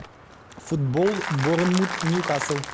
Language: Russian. футбол борнмут ньюкасл